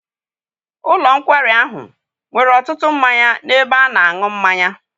Ụlọ nkwari ahụ nwere ọtụtụ mmanya n'ebe ana-aṅụ mmanya.